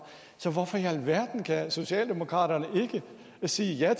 så hvorfor i alverden kan socialdemokraterne ikke sige ja